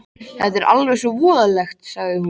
Þetta er alveg svo voðalegt, sagði hún.